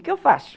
O que eu faço?